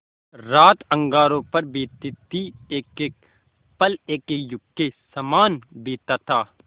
रात अंगारों पर बीतती थी एकएक पल एकएक युग के सामान बीतता था